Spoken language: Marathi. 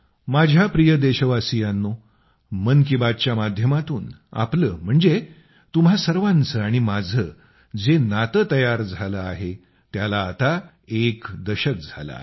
माझ्या प्रिय देशवासियांनो मन की बात च्या माध्यमातून आपलं म्हणजे तुम्हां सर्वांचं आणि माझं जे नातं तयार झालं आहे त्याला आता एक दशक झालं आहे